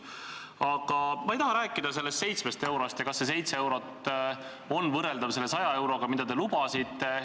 Aga ma ei taha rääkida sellest 7 eurost ja sellest, kas 7 eurot on võrreldav selle 100 euroga, mida te lubasite.